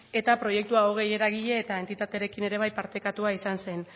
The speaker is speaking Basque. eta proiektu hogei eragile eta entitaterekin eta bai partekatua izan zen